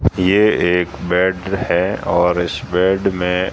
ये एक बेड है और इस बेड में--